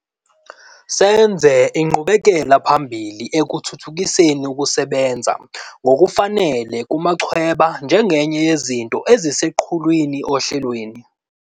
Senze inqubekelaphambili ekuthuthukiseni ukusebenza ngokufanele kumachweba njengenye yezinto eziseqhulwini ohlelweni.